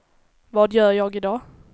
vad gör jag idag